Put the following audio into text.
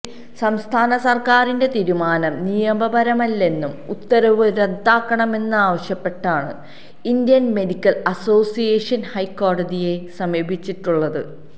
സംസ്ഥാന സര്ക്കാരിന്റെ തീരുമാനം നിയമപരമല്ലെന്നും ഉത്തരവ് റദ്ദാക്കണമെന്നുമാവശ്യപ്പെട്ടാണ് ഇന്ത്യന് മെഡിക്കല് അസോസിയേഷന് ഹൈക്കോടതിയെ സമീപിച്ചിട്ടുള്ളത്